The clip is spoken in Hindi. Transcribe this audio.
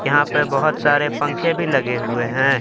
यहां पे बहुत सारे पंखे भी लगे हुए हैं।